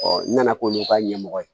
n nana k'olu ka ɲɛmɔgɔ ye